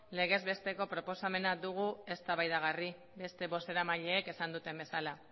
legez besteko proposamena dugu eztabaidagarri beste bozeramaileek esan duten bezala